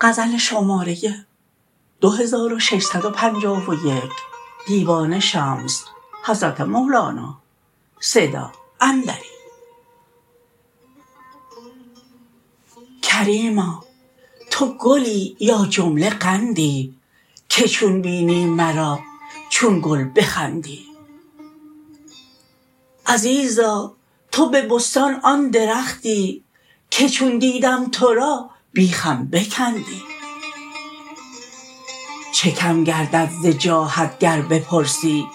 کریما تو گلی یا جمله قندی که چون بینی مرا چون گل بخندی عزیزا تو به بستان آن درختی که چون دیدم تو را بیخم بکندی چه کم گردد ز جاهت گر بپرسی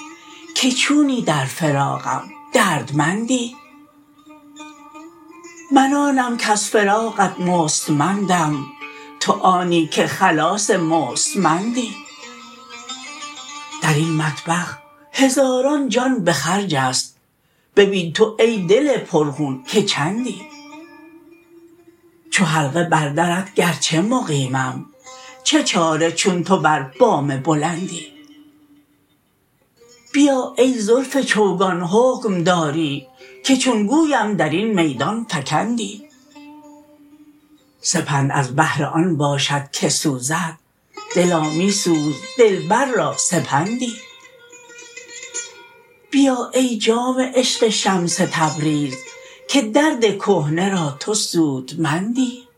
که چونی در فراقم دردمندی من آنم کز فراقت مستمندم تو آنی که خلاص مستمندی در این مطبخ هزاران جان به خرج است ببین تو ای دل پرخون که چندی چو حلقه بر درت گرچه مقیمم چه چاره چون تو بر بام بلندی بیا ای زلف چوگان حکم داری که چون گویم در این میدان فکندی سپند از بهر آن باشد که سوزد دلا می سوز دلبر را سپندی بیا ای جام عشق شمس تبریز که درد کهنه را تو سودمندی